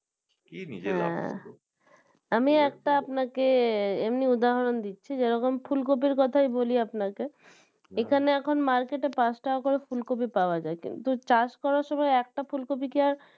আমি একটা আপনাকে এমনি উদাহরণ দিচ্ছি যেমন ফুলকপির কথাই বলি আপনাকে এখানে এখন market এ পাঁচ টাকা করে ফুলকপি পাওয়া যায় কিন্তু চাষ করার সময় একটা ফুলকপি কে আর